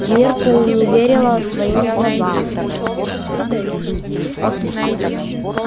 миртл не верила своим глазам